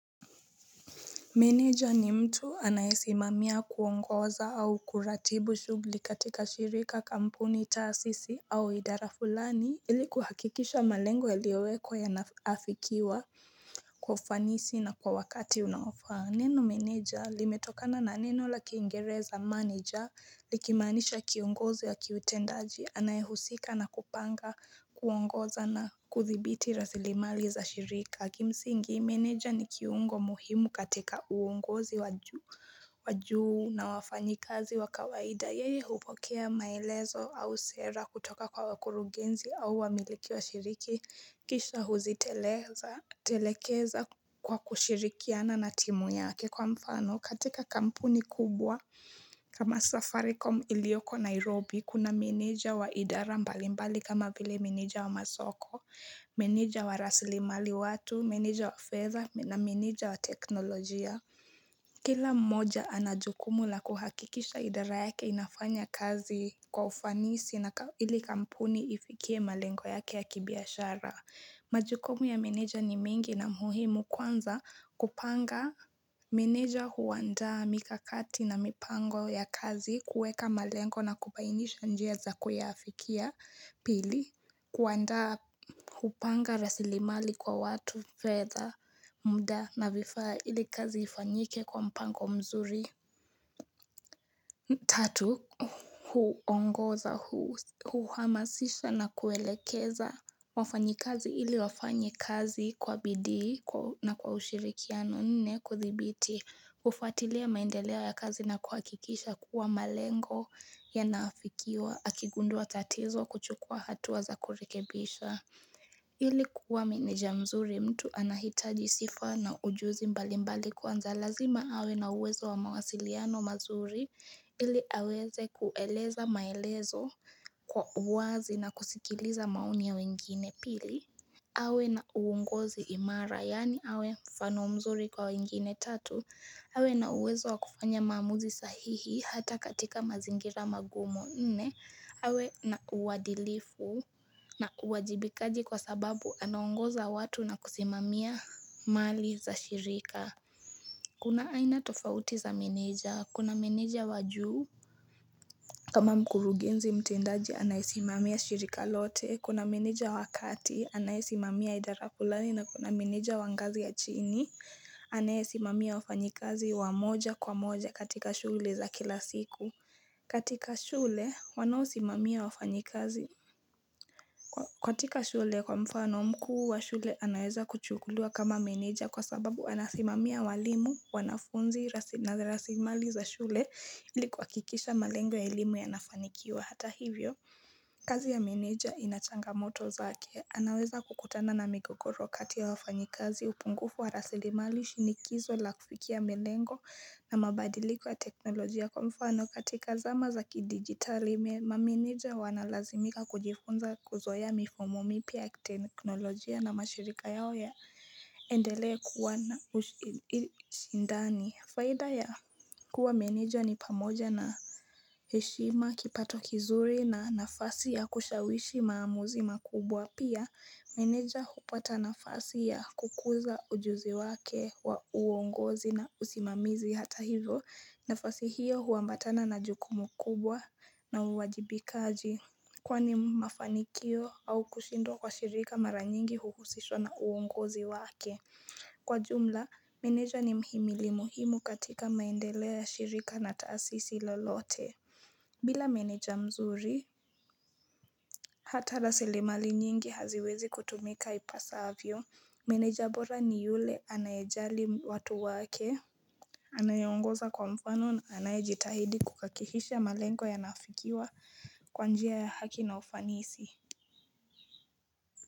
Manager ni mtu anaisimamia kuongoza au kuratibu shughuli katika shirika kampuni taasisi au idara fulani ili kuhakikisha malengo yaliyowekwa yanaafikiwa kufanisi na kwa wakati unaofaa Neno meneja limetokana na neno la kiingereza manager likimanisha kiongozi ya kiutendaji Anayehusika na kupanga kuongoza na kuthibiti rasilimali za shirika Kimsingi meneja ni kiungo muhimu katika uongozi wajuu na wafanyi kazi wakawaida Yeye hupokea maelezo au sera kutoka kwa wakuru genzi au wamiliki wa shiriki Kisha huzitelekeza kwa kushirikiana na timu yake kwa mfano katika kampuni kubwa kama Safaricom iliyoko Nairobi kuna meneja wa idara mbalimbali kama vile meneja wa masoko, meneja wa raslimali watu, meneja wa feather na meneja wa teknolojia. Kila mmoja anajukumu la kuhakikisha idara yake inafanya kazi kwa ufanisi na ili kampuni ifikie malengo yake ya kibiashara. Majukumu ya meneja ni mingi na muhimu kwanza kupanga meneja huandaa mikakati na mipango ya kazi kueka malengo na kubainisha njia za kuyaafikia pili. Kuandaa hupanga rasilimali kwa watu, feather, mda na vifaa ili kazi ifanyike kwa mpango mzuri. Tatu, huongoza, huhamasisha na kuelekeza. Wafanyi kazi ili wafanye kazi kwa bidi na kwa ushirikiano nne kuthibiti. Hufuatilia maendeleo ya kazi na kuhakikisha kuwa malengo yanaafikiwa. Akigunduwa tatizo kuchukua hatua za kurekebisha. Ilikuwa meneja mzuri mtu anahitaji sifa na ujuzi mbali mbali kwanza lazima awe na uwezo wa mawasiliano mazuri ili aweze kueleza maelezo kwa uwazi na kusikiliza maoni ya wengine pili awe na uongozi imara, yaani awe mfano mzuri kwa wengine tatu. Awe na uwezo wa kufanya maamuzi sahihi hata katika mazingira magumu. Awe na uwadilifu na uwajibikaji kwa sababu anongoza watu na kusimamia mali za shirika. Kuna aina tofauti za meneja, kuna meneja wajuu. Kama mkurugenzi mtendaji anaisimamia shirika lote, kuna meneja wakati, anayeisimamia idara fulani na kuna meneja wangazi ya chini, anayeisimamia wafanyikazi wamoja kwa moja katika shughuli za kila siku. Katika shule kwa mfano mkuu wa shule anaweza kuchukuliwa kama manager kwa sababu anasimamia walimu wanafunzi na rasimali za shule ilikuwa kikisha malengo ya elimu ya nafanikiwa hata hivyo. Kazi ya manager inachanga moto zake anaweza kukutana na migogoro kati ya wafanyikazi upungufu wa rasili mali shinikizo la kufikia malengo na mabadiliko ya teknolojia kwa mfano katika zama za kidigitali mamanager wanalazimika kujifunza kuzoea mifumo mipya teknolojia na mashirika yao ya endele kuwa na ushindani Faida ya kuwa meneja ni pamoja na heshima, kipato kizuri na nafasi ya kushawishi maamuzi makubwa. Pia, meneja hupata nafasi ya kukuza ujuzi wake wa uongozi na usimamizi hata hivyo. Nafasi hiyo huambatana na jukumu kubwa na uwajibikaji. Kwani mafanikio au kushindwa kwa shirika maranyingi huhusishwa na uongozi wake. Kwa jumla, meneja ni mhimili muhimu katika maendeleo ya shirika na taasisi lolote bila meneja mzuri, hata rasili mali nyingi haziwezi kutumika ipasavyo Meneja bora ni yule anayejali watu wake Anayeongoza kwa mfano na anayejitahidi kuhakihisha malengo ya naafikiwa kwanjia ya haki na ufanisi.